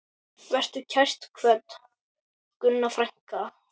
Vertu kært kvödd, Gunna frænka.